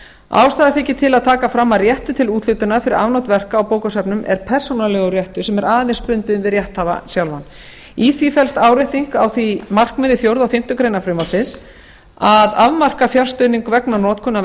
ástæða þykir til að taka fram að réttur til úthlutunar fyrir afnot verka á bókasöfnum er persónulegur réttur sem er aðeins bundinn við rétthafa sjálfan í því felst árétting á því markmiði fjórða og fimmtu grein frumvarpsins að afmarka fjárstuðning vegna notkunar